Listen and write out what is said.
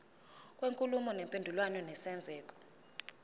kwenkulumo mpendulwano nesenzeko